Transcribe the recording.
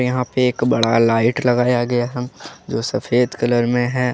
यहां पे एक बड़ा लाइट लगाया गया है जो सफेद कलर में है।